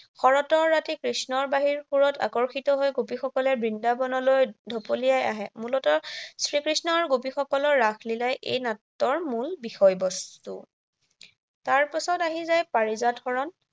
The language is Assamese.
শৰতৰ ৰাতি কৃষ্ণৰ বাঁহীৰ সুৰত আকৰ্ষিত হৈ গোপীসকলে বৃন্দাবনলৈ ঢপলিয়াই আহে। মূলতঃ শ্ৰীকৃষ্ণ আৰু গোপীসকলৰ ৰাসলীলাই এই নাটৰ মূল বিষয়বস্তু। তাৰ পাছত আহি যায় পাৰিজাত হৰণ